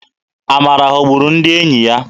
Amara ghọburu ndị enyi ya.